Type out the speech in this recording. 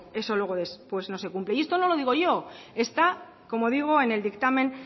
eso luego es pues no se cumple y esto no lo digo yo está como digo en el dictamen